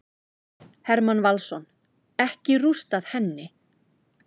Hermann Valsson: Ekki rústað henni.